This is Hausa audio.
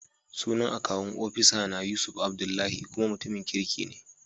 Sunan akawun ofisana Yusuf Adlbdullahi, kuma mutumin kirki ne.